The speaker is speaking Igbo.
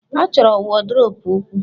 A chọrọ wọdrobu ukwuu.